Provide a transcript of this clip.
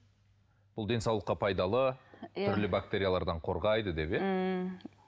бұл денсаулыққа пайдалы түрлі бактериялардан қорғайды деп иә ммм